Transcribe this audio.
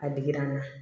A digira n na